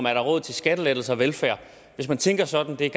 er råd til skattelettelser og velfærd hvis man tænker sådan er